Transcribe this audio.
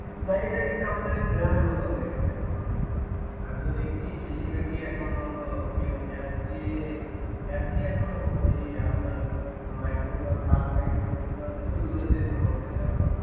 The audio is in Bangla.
ভাই এটা কিন্তু আমাদের গ্রামের মতো হয়ে গেছে এখন অনেকটা আমি তো দেখছি বেশিরভাগই এখন হলো কেউ অ্যাপ দিয়ে অ্যাপ দিয়ে এখন ও ঔ আপনার মাইক্রো বা কার টাইপের যেগুলো আছে ওইগুলোতেই মোটামুটি যাতায়াত করে